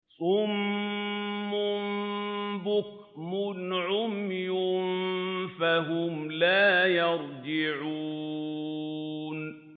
صُمٌّ بُكْمٌ عُمْيٌ فَهُمْ لَا يَرْجِعُونَ